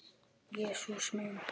Jesús minn!